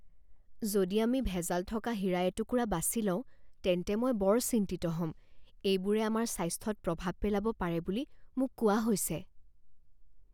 যদি আমি ভেজাল থকা হীৰা এটুকুৰা বাছি লওঁ তেন্তে মই বৰ চিন্তিত হ'ম। এইবোৰে আমাৰ স্বাস্থ্যত প্ৰভাৱ পেলাব পাৰে বুলি মোক কোৱা হৈছে।